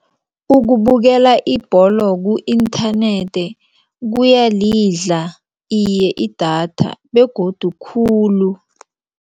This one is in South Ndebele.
Ukubukela ibholo ku-internet kuyalidla idatha iye begodu khulu.